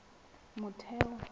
motheo